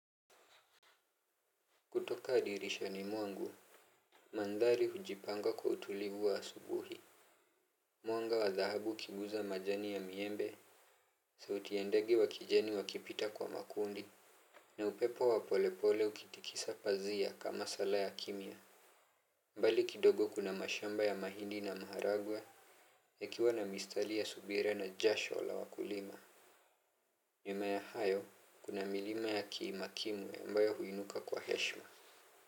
Kutoka dirishani mwangu, mandhari hujipanga kwa utulivu wa asubuhi. Mwanga wa dhahabu ukiguza majani ya miembe. Sauti ya ndege wa kijani wakipita kwa makundi na upepo wa polepole ukitikisa pazia, kama sala ya kimya. Mbali kidogo kuna mashamba ya mahindi na maharagwe ikiwa na mistali ya subira na jasho la wakulima, mimea hayo kuna milima ya kiima kimwe ambayo huinuka kwa heshma.